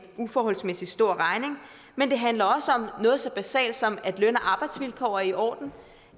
uforholdsmæssig stor regning men det handler også om noget så basalt som at løn og arbejdsvilkår er i orden